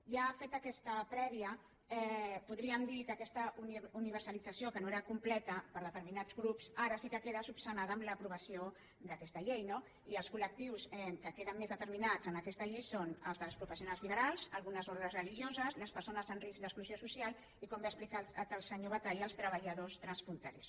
ja feta aquesta prèvia podríem dir que aquesta universalització que no era completa per determinats grups ara sí que queda esmenada amb l’aprovació d’aquesta llei no i els col·lectius que queden més determinats en aquesta llei són els dels professionals liberals algunes ordes religioses les persones amb risc d’exclusió social i com bé ha explicat el senyor batalla els treballadors transfronterers